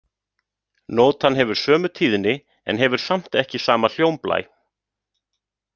Nótan hefur sömu tíðni en hefur samt ekki sama hljómblæ.